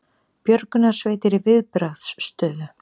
Björgunarsveitir í viðbragðsstöðu